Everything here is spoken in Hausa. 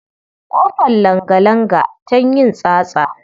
Ƙofar langalanga tan yin tsatsa.